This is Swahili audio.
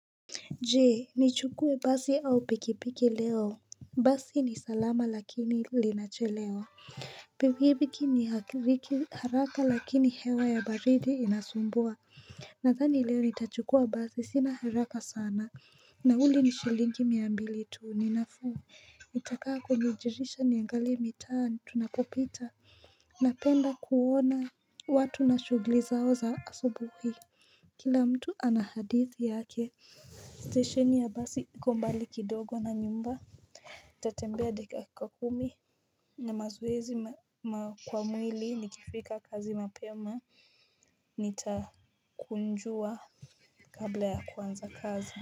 Je, nichukue basi au pikipiki leo. Basi ni salama lakini linachelewa. Pikipiki ni haraka lakini hewa ya baridi inasumbua. Nadhani leo nitachukua basi sina haraka sana. Nauli ni shilingi mia mbili tuu, ninafuu. Itakaa kunijulisha niangali mitaani tunapopita. Napenda kuona watu na shughuli zao za asubuhi. Kila mtu ana hadithi yake. Stesheni ya basi iko mbali kidogo na nyumba nitatembea dakika kumi na mazoezi kwa mwili nikifika kazi mapema Nitakunjua kabla ya kuanza kazi.